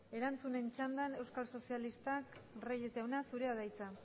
erantzunen txandan euskal sozialistak reyes jauna zurea da hitza